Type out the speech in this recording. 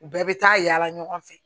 U bɛɛ bɛ taa yaala ɲɔgɔn fɛ